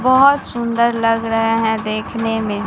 बहोत सुंदर लग रहे हैं देखने में।